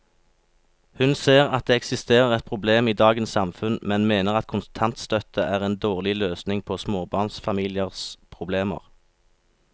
Hun ser at det eksisterer et problem i dagens samfunn, men mener at kontantstøtte er en dårlig løsning på småbarnsfamiliers problemer.